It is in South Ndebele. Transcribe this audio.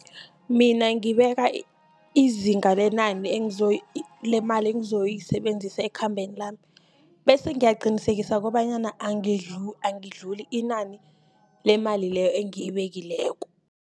Mina ngibeka izinga lenani lemali engizoyisebenzisa ekhambeni lami., bese ngiyaqinisekisa kobanyana angidluli inani lemali leyo engiyibekileko.